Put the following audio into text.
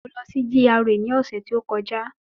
Mo lọ sí GRA ni ọ̀sẹ̀ tí ó kọjá